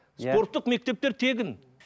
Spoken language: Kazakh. спорттық мектептер тегін